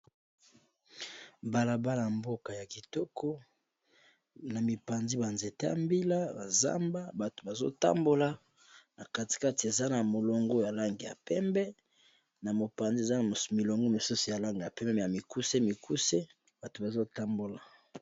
mbalaba ya mboka ya kitoko na mipanzi banzete ya mbila bazamba bato bazotambola na katikate eza na molongo ya lange ya pembe na mopanzi eza milongo mosusi yalanga ya pembe ya mikuse mikuse bato bazotambola